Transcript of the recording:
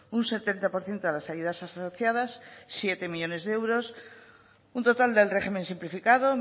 un setenta por ciento de las ayudas asociadas siete millónes euros un total del régimen simplificado